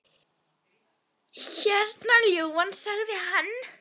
Hérna, ljúfan, sagði hann.